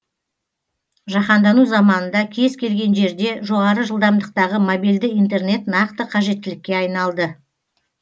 жаһандану заманында кез келген жерде жоғары жылдамдықтағы мобильді интернет нақты қажеттілікке айналды